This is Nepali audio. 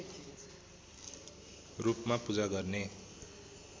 रूपमा पूजा गर्ने